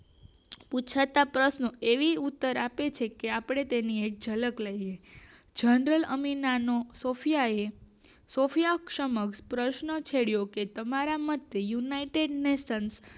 પુછાતા પ્રશ્નો એવી ઉત્તર આપે છે કે આપણે તેની એક ઝલક લઇ લઈએ જેન્ડર અમીનનો સોફિયાએ સોફીયા સમક્ષ પ્રશ્ન છેડ્યો કે તમારામાં યુનાઇટેડ નેશન